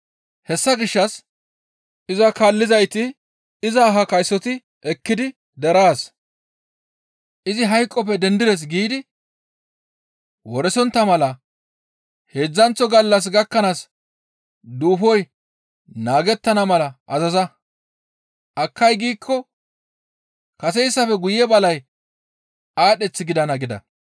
Hessa gishshas iza kaallizayti iza ahaa kaysoti ekkidi deraas, ‹Izi hayqoppe dendides› giidi woresontta mala heedzdzanththo gallas gakkanaas duufoy naagettana mala azaza; akkay giikko kaseyssafe guye balay aadheth gidana» gida.